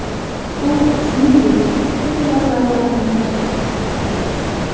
U, shuningdek, pul mablag‘larini tarqatgan.